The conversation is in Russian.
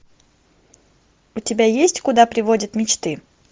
у тебя есть куда приводят мечты